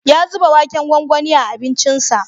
Ya zuba waken gwangwani a abincinsa.